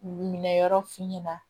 Minɛ yɔrɔ f'i ɲɛna